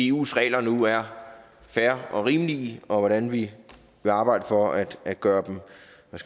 eus regler nu er fair og rimelige og om hvordan vi vil arbejde for at at gøre